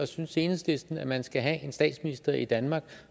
synes enhedslisten at man skal have en statsminister i danmark